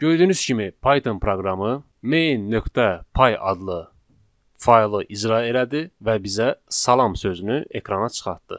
Gördüyünüz kimi Python proqramı main.py adlı faylı icra elədi və bizə salam sözünü ekrana çıxartdı.